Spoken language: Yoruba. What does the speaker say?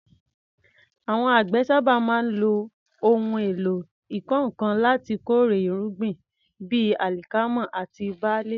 Àwọn àgbẹ̀ sábà máa ń lo ohun èlò ìkọ́ nǹkan láti kórè irúgbìn bíi alikama àti barle.